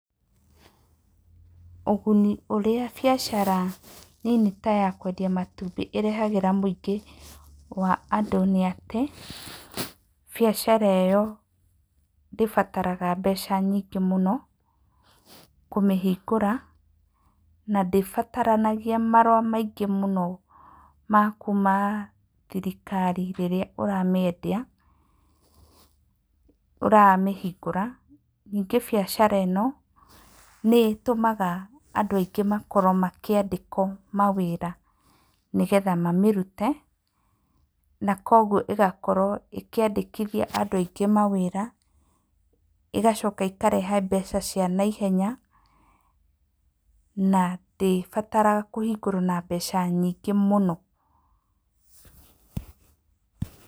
Ũguni ũrĩa biacara nini ta ya kwendia matumbĩ ĩrehagĩra mũingĩ wa andũ nĩ atĩ; biacara ĩyo ndĩbataraga mbeca nyingĩ mũno kũmĩhingũra na ndĩbataranagia marũa maingĩ mũno ma kuuma thirikari rĩrĩa ũramĩendia, ũramĩhingũra. Ningĩ biacara ĩno nĩ ĩtũmaga andũ aingĩ makorwo makĩandĩkwo mawĩra, nĩgetha mamĩrute na kwoguo ĩgakorwo ĩkĩandĩkithia andũ aingĩ, ĩgacoka ĩkarehe mbeca cia naihenya, na ndĩbataraga kũhingũrwo na mbeca nyingĩ mũno.